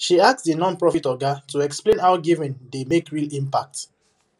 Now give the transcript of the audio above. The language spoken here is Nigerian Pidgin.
she ask the nonprofit oga to explain how giving dey make real impact